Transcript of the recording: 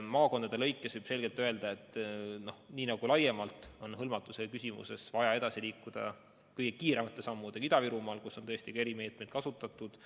Maakondade lõikes võib selgelt öelda, et laiemalt kogu hõlmatuse suurendamisel on vaja kõige kiiremate sammudega edasi liikuda Ida-Virumaal, kus on ka erimeetmeid kasutatud.